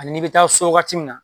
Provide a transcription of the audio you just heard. Ani n'i bi taa so waati min na